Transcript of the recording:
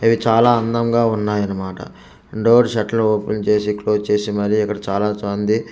ఇవి చాలా అందంగా ఉన్నాయి అనమాట డోర్స్ శేట్లు ఓపెన్ చేసి క్లోజ్ చేసి మరి ఇక్కడ చాలా ఉంది.